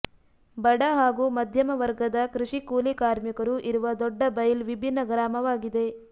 ಬಡ ಹಾಗೂ ಮಧ್ಯಮ ವರ್ಗದ ಕೃಷಿ ಕೂಲಿಕಾರ್ಮಿಕರು ಇರುವ ದೊಡ್ಡಬೈಲ್ ವಿಭಿನ್ನ ಗ್ರಾಮವಾಗಿದೆ